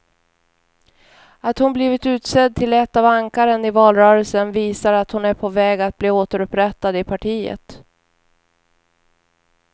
Att hon blivit utsedd till ett av ankaren i valrörelsen visar att hon är på väg att bli återupprättad i partiet.